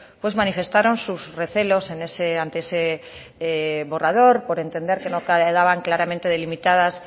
pues manifestaron sus recelos ante ese borrador por entender que no quedaban claramente delimitadas